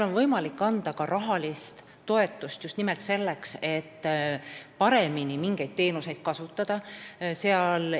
On võimalik anda ka rahalist toetust – just nimelt selleks, et mingeid teenuseid saaks paremini kasutada.